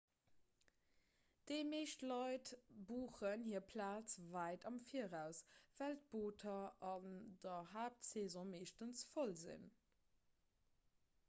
déi meescht leit buchen hir plaz wäit am viraus well d'booter an der haaptsaison meeschtens voll sinn